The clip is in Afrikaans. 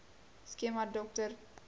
skema dr dp